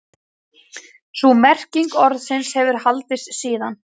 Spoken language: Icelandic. Sú merking orðsins hefur haldist síðan.